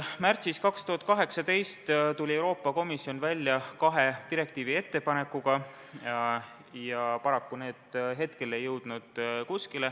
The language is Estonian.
Märtsis 2018 tuli Euroopa Komisjon välja kahe direktiivi ettepanekuga, paraku need ei jõudnud kuskile.